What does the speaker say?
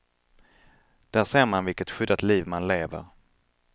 Där ser man vilket skyddat liv man lever.